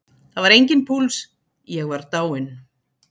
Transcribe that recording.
Það var enginn púls, ég var dáinn.